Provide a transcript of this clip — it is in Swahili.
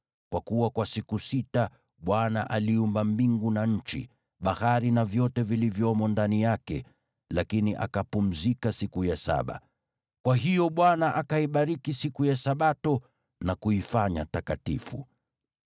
Kwa kuwa kwa siku sita, Bwana aliumba mbingu na nchi, bahari na vyote vilivyomo, lakini akapumzika siku ya saba. Kwa hiyo Bwana akaibariki siku ya Sabato na kuifanya takatifu.